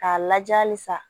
K'a lajɛ halisa